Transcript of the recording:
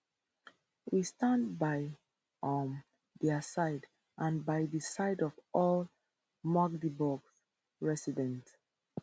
we stand by um dia side and by di side of all magdeburg residents